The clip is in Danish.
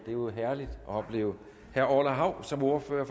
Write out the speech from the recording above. er jo herligt at opleve herre orla hav som ordfører